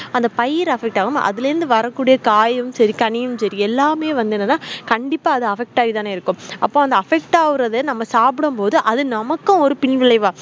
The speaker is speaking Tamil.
அந்த பயிற affect ஆகம அதுல இருந்து வரக்கூடிய காயும் செரி கனியும் செரிஎல்லாமே வந்துகண்டிப்பா ஆது affect ஆகி தானே இருக்கும்அப்போ அந்த affect ஆகுற நம்ம சாப்பிடும் போதுநமக்கும் ஒரு பின்விளைவு